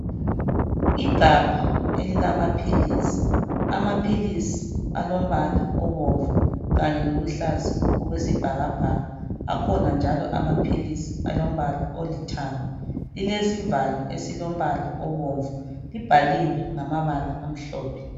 Igabha elilamaphilisi. Amaphilisi alombala obomvu kanye loluhlaza okwesibhakabhaka. Akhona njalo amaphilisi alombala olithanga. Lilesivalo esilombala obomvu. Libhaliwe ngamabala amhlophe.